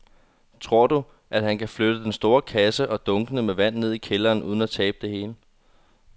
Tror du, at han kan flytte den store kasse og dunkene med vand ned i kælderen uden at tabe det hele?